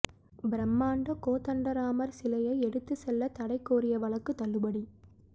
பிரமாண்ட கோதண்டராமர் சிலையை எடுத்து செல்ல தடை கோரிய வழக்கு தள்ளுபடி